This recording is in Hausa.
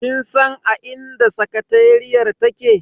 Kin san a inda sakateriyar take?